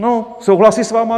No, souhlasí s vámi?